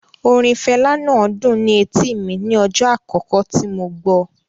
Orin Fela náà dùn ni etíì mi ní ọjọ́ àkókò tí mo gbọ́.